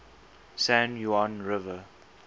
san juan river